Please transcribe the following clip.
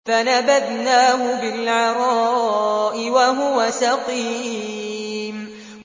۞ فَنَبَذْنَاهُ بِالْعَرَاءِ وَهُوَ سَقِيمٌ